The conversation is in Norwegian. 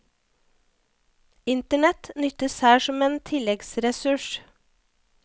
Internett nyttes her som en tilleggsressurs.